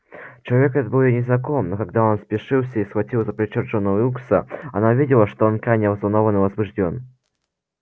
человек этот был ей незнаком но когда он спешился и схватил за плечо джона уилкса она увидела что он крайне взволнован и возбуждён